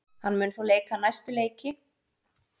Hann mun þó leika næstu þrjá leiki með Val.